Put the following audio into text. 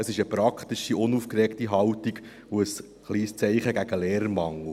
Es ist eine praktische, unaufgeregte Haltung und ein kleines Zeichen gegen den Lehrermangel.